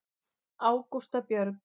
Ágústa Björg.